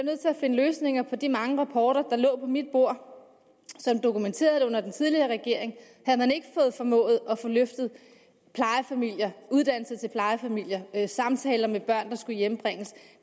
finde løsninger for de mange rapporter der lå på mit bord dokumenterede at under den tidligere regering havde man ikke formået at få løftet uddannelse til plejefamilier samtaler med børn der skulle hjembringes